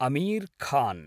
Amir Khan